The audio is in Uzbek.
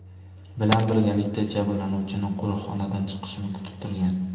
bilan birgalikda jabrlanuvchini qo‘riqxonadan chiqishini kutib turgan.